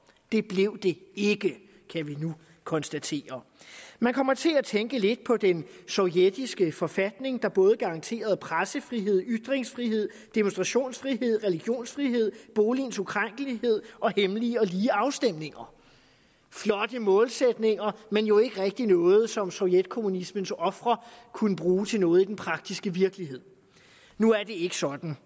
det blev det ikke kan vi konstatere man kommer til at tænke lidt på den sovjetiske forfatning der både garanterede pressefrihed ytringsfrihed demonstrationsfrihed religionsfrihed boligens ukrænkelighed og hemmelige og lige afstemninger flotte målsætninger men jo ikke rigtig noget som sovjetkommunismens ofre kunne bruge til noget i den praktiske virkelighed nu er det ikke sådan